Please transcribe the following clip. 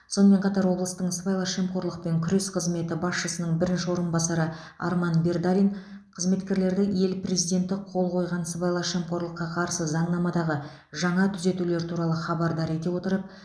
сонымен қатар облыстың сыбайлас жемқорлықпен күрес қызметі басшысының бірінші орынбасары арман бердалин қызметкерлерді ел президенті қол қойған сыбайлас жемқорлыққа қарсы заңнамадағы жаңа түзетулер туралы хабардар ете отырып